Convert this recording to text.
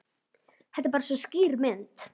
Þetta er bara svo skýr mynd.